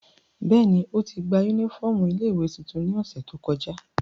Bẹ́ẹ̀ni, oti gba unifọmú ile-iwe tuntun ni ọsẹ to kọja.